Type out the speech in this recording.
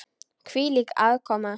Hvílík aðkoma!